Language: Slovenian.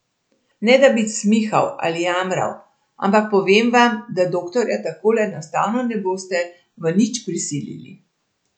Ne da bi cmihal ali jamral, ampak povem vam, da doktorja takole enostavno ne boste v nič prisilili.